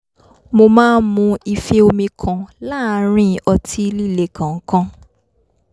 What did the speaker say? mo máa ń mu ife omi kan láàárín ọtí líle kọ̀ọ̀kan